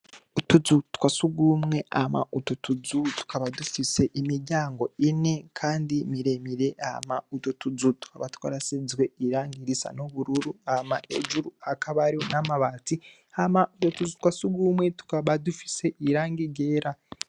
Utuzu twasugumwe hama utu tuzu tukaba dufise imiryango ine kandi miremire hama utwotuzu twarasizwe irangi risa nubururu hama ejo hakaba hari namabati hama utuzu twasugumwe tukaba dufise irangi ryera